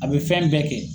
A bɛ fɛn bɛɛ kɛ